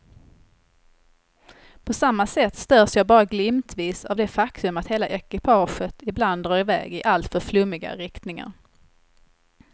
På samma sätt störs jag bara glimtvis av det faktum att hela ekipaget ibland drar i väg i alltför flummiga riktningar.